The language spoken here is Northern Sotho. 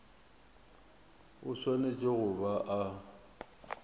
o swanetše go ba a